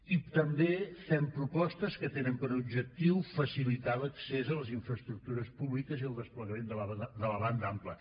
i també fem propostes que tenen per objectiu facilitar l’accés a les infraestructures públiques i el desplegament de la banda ampla